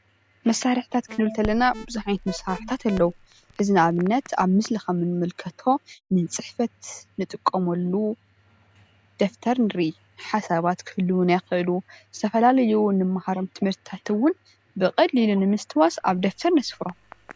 መሳርሕታት ኽንብል ከለና ፥ ቡዙሕ ዓይነት መሳርሕታት ኣለው። እዚ ንኣብነት ኣብ ምስሊ ኸም እንምልከቶ ንፅሕፈት እንጥቀመሉ ደፍተር ንርኢ። ሓሳባት ክህልውና ይኽእሉ ፣ዝተፈላለዩ ንምሃሮም ትምህርትታት እውን ንምስትዋስ ኣብ ደፍተር ነስፍሮም።